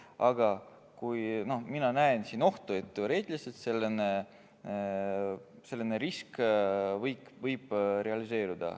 Aga mina näen siin ohtu, et teoreetiliselt võib selline risk kohalikus omavalitsuses realiseeruda.